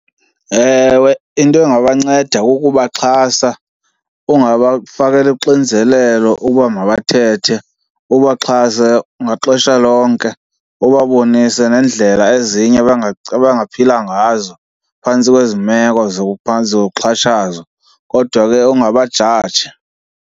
Ewe, into engabanceda kukubaxhasa ungabafakeli uxinzelelo uba mabathethe, ubaxhase maxesha onke. Ubabonise neendlela ezinye abangaphila ngazo phantsi kwezi meko zokuxhatshazwa kodwa ke ungabajaji.